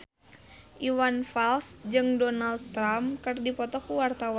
Iwan Fals jeung Donald Trump keur dipoto ku wartawan